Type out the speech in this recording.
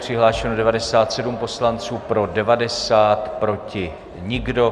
Přihlášeno 97 poslanců, pro 90, proti nikdo.